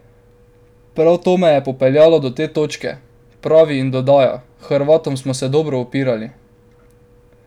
Prav to me je popeljalo do te točke," pravi in dodaja: "Hrvatom smo se dobro upirali.